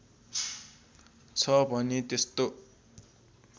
छ भने त्यस्तो